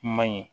I man ɲi